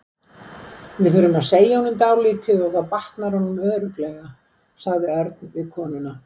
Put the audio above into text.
Við þurfum að segja honum dálítið og þá batnar honum örugglega, sagði Örn við konuna.